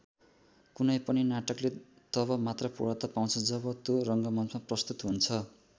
कुनै पनि नाटकले तब मात्र पूर्णता पाउँछ जब त्यो रङ्गमञ्चमा प्रस्तुत हुन्छ।